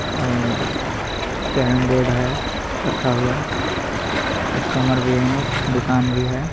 अह carrom board है रखा हुआ कस्टमर भी है दुकान भी है.